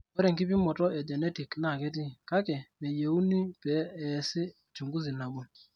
Ore enkipimoto e genetic naa ketii, kake meyieuni pee eesi uchunguzi nabo.